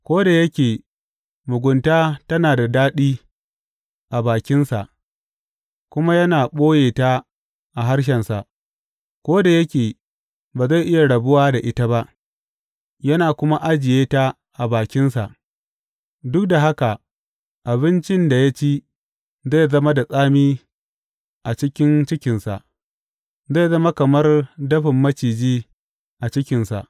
Ko da yake mugunta tana da daɗi a bakinsa kuma yana ɓoye ta a harshensa, ko da yake ba zai iya rabuwa da ita ba, yana kuma ajiye ta a bakinsa, duk da haka abincin da ya ci zai zama da tsami a cikin cikinsa; zai zama kamar dafin maciji a cikinsa.